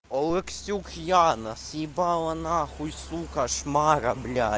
олексюк яна съебала нахуй сука шмара бля